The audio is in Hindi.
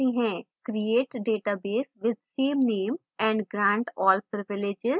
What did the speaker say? create database with same name and grant all privileges